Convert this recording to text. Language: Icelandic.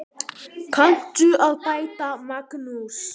Þarf fólk að vara sig?